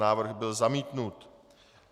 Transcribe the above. Návrh byl zamítnut.